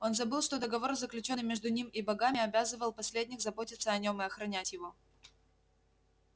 он забыл что договор заключённый между ним и богами обязывал последних заботиться о нём и охранять его